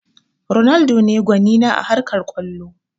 Ronaldo ne gwani na a harkar kwallo